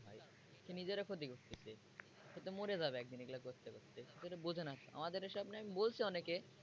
নিজের ক্ষতি করতেছে সে তো মরে যাবে একদিন এগুলো করতে করতে সে বোঝেনা আমাদের এসব নিয়ে আমি বলছি অনেকে।